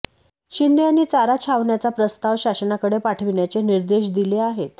शिंदे यांनी चारा छावण्याचा प्रस्ताव शासनाकडे पाठविण्याचे निर्देश दिले आहेत